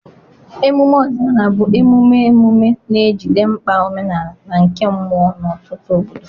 emume ọdịnala bụ emume emume na-ejide mkpa omenala na nke mmụọ n'ọtụtụ obodo.